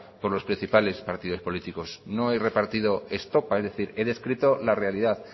por los principales partidos políticos no he repartido estopa es decir he descrito la realidad